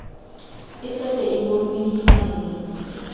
e setse e bonwe difaele